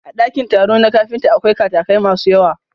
A ɗakin taro na kafinta, akwai katakai masu yawa.